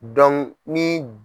ni.